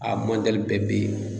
A mɔndɛli bɛɛ bɛ yen.